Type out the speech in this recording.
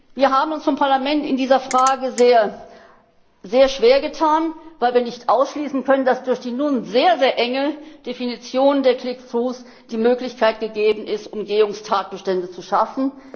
Wir haben uns vom Parlament in dieser Frage sehr schwer getan, weil wir nicht ausschließen können, dass durch die nun sehr enge Definition der click throughs die Möglichkeit gegeben ist, Umgehungstatbestände zu schaffen.